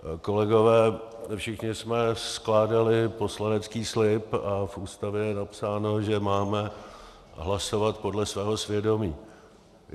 Kolegové, všichni jsme skládali poslanecký slib a v Ústavě je napsáno, že máme hlasovat podle svého svědomí.